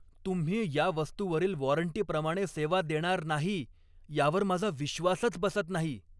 तुम्ही या वस्तूवरील वॉरंटीप्रमाणे सेवा देणार नाही यावर माझा विश्वासच बसत नाही.